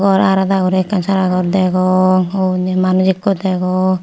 gor arada guri ekkan sara gor degong oi uni manus ikko degong.